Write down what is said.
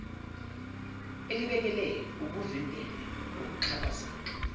elibhekele ukuvimbela ukuxhaphazeka